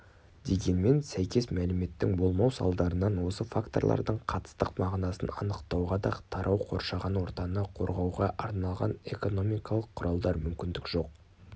дегенмен сәйкес мәліметтің болмау салдарынан осы факторлардың қатыстық мағынасын анықтауға да тарау қоршаған ортаны қорғауға арналған экономикалық құралдар мүмкіндік жоқ